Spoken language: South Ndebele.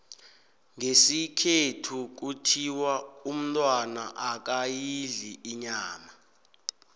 ngesikhethu kuthiwa umntwana akayidli inyama